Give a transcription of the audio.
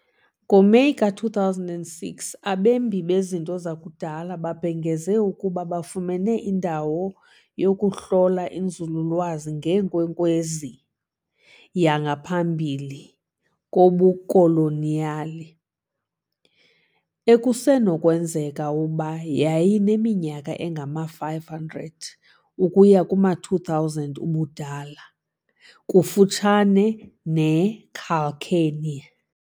NgoMeyi ka-2006, abembi bezinto zakudala babhengeze ukuba bafumene indawo yokuhlola inzululwazi ngeenkwenkwezi yangaphambi kobukoloniyali, ekusenokwenzeka ukuba yayineminyaka engama-500 ukuya kuma-2,000 ubudala, kufutshane neCalçoene.